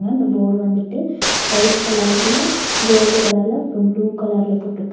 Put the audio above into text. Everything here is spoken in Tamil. இந்த போர்டு வந்துட்டு ஒயிட் கலர்ல கோல்டு கலர்ல அப்றம் ப்ளூ கலர்ல போட்ருக்காங்க.